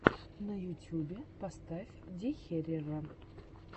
на ютюбе поставь дехерера